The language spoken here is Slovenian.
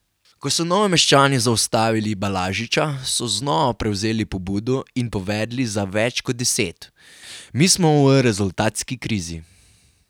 Ko so Novomeščani zaustavili Balažiča, so znova prevzeli pobudo in povedli za več kot deset: 'Mi smo v rezultatski krizi.